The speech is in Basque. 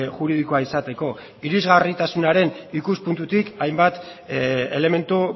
juridikoa izateko irisgarritasunaren ikuspuntutik hainbat elementu